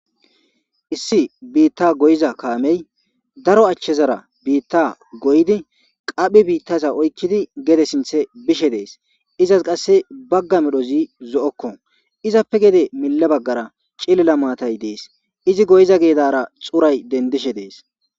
issi biitta goyiza kaamey daro achchezara biitta goydi qaphi biittaza oykkidi gede sinthe bishe dees izas qasse bagga medhozi zo7okko izappe gede mille baggara cillila maatay dees izi goyiza geedara xuray dendishe dees